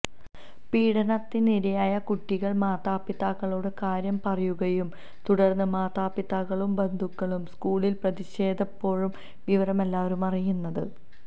പീഡനത്തിനിരയായ കുട്ടികള് മാതാപിതാക്കളൊട് കാര്യം പറയുകയും തുടര്ന്ന് മാതാപിതാക്കളും ബന്ധുക്കളും സ്കൂളില് പ്രതിഷേധിച്ചപ്പോഴാണ് വിവരം എല്ലാവരും അറിയുന്നത്